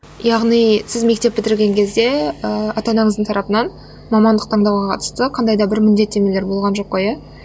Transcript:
яғни сіз мектеп бітірген кезде ыыы ата анаңыздың тарапынан мамандық таңдауға қатысты қандай да бір міндеттемелер болған жоқ қой иә